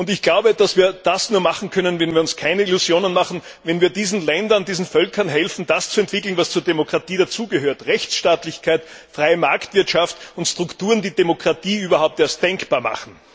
Ich glaube, dass wir das nur tun können, wenn wir uns keine Illusionen machen, wenn wir diesen Völkern helfen, das zu entwickeln, was zur Demokratie dazugehört Rechtsstaatlichkeit, freie Marktwirtschaft und Strukturen, die Demokratie überhaupt erst denkbar machen.